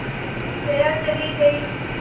जया चली गई